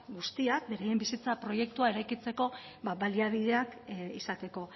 guztiak beraien bizitza proiektua eraikitzeko baliabideak izateko